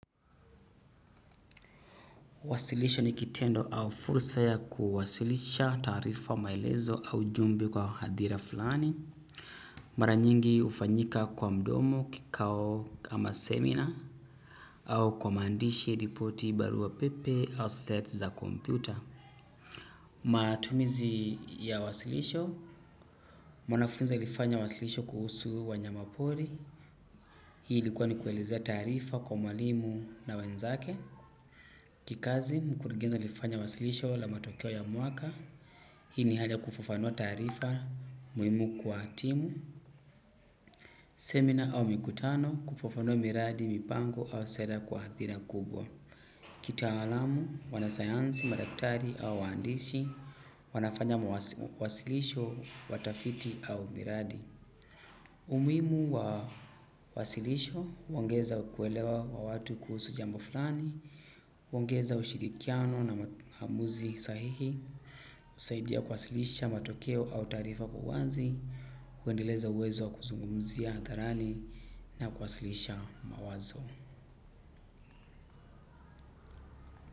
Wasilisho nikitendo au fursa ya kuwasilisha tarifa maelezo au jumbe kwa hadhira fulani. Mara nyingi ufanyika kwa mdomo kikao kama seminar. Au kwa mandishi ripoti barua pepe au slet za kompyuta. Matumizi ya wasilisho. Mwanafunzi alifanya wasilisho kuhusu wanyamapori. Hii ilikuwa ni kuelizea tarifa kwa mwalimu na wanzake. Kikazi mkuruhenzi alifanya wasilisho la matokeo ya mwaka. Hini hali ya kufufanua tarifa, muimu kwa timu, seminar au mikutano kufufanua miradi, mipango au sera kwa hadhira kubwa. Kitaalamu, wanasayansi, madaktari au waandishi, wanafanya mwasilisho, watafiti au miradi. Umimu wa wasilisho, huongeza kuelewa wa watu kuhusu jambo fulani, huongeza ushirikiano na mamuzi sahihi, usaidia kuwasilisha matokeo au tarifa kwa uwanzi. Kuendeleza uwezo kuzungumzia atharani na kuwasilisha mawazo.